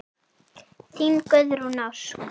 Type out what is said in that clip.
Þín Guðrún Ósk.